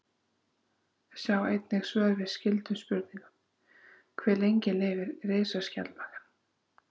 Sjá einnig svör við skyldum spurningum: Hve lengi lifir risaskjaldbakan?